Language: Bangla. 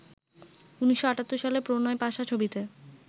১৯৭৮ সালে ‘প্রণয় পাশা’ ছবিতে